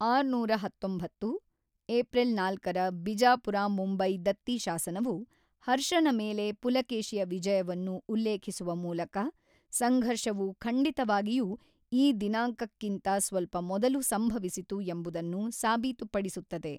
ಆರುನೂರ ಹತೊಂಬತ್ತು, ಏಪ್ರಿಲ್ ನಾಲ್ಕರ ಬಿಜಾಪುರ-ಮುಂಬೈ ದತ್ತಿ ಶಾಸನವು, ಹರ್ಷನ ಮೇಲೆ ಪುಲಕೇಶಿಯ ವಿಜಯವನ್ನು ಉಲ್ಲೇಖಿಸುವ ಮೂಲಕ ಸಂಘರ್ಷವು ಖಂಡಿತವಾಗಿಯೂ ಈ ದಿನಾಂಕಕ್ಕಿಂತ ಸ್ವಲ್ಪ ಮೊದಲು ಸಂಭವಿಸಿತು ಎಂಬುದನ್ನು ಸಾಬೀತುಪಡಿಸುತ್ತದೆ.